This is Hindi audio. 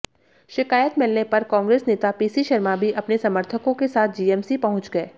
शिकायत मिलने पर कांग्रेस नेता पीसी शर्मा भी अपने समर्थकों के साथ जीएमसी पहुंच गए